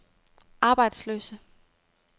arbejdsløse